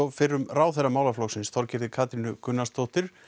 fyrrum ráðherra málaflokksins Þorgerði Katrínu Gunnarsdóttur